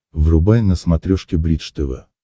врубай на смотрешке бридж тв